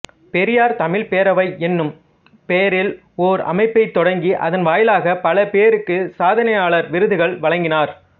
பெரியார் தமிழ்ப் பேரவை என்னும் பெயரில் ஓர் அமைப்பைத் தொடங்கி அதன் வாயிலாகப் பல பேருக்குச் சாதனையாளர் விருதுகள் வழங்கினார்